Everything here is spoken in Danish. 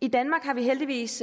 i danmark har vi heldigvis